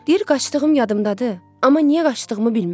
Deyir qaçdığım yadımdadır, amma niyə qaçdığımı bilmirəm.